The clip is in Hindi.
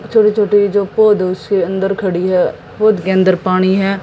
छोटे छोटे जो पौधो से अंदर खड़ी है पौध के अंदर पानी है।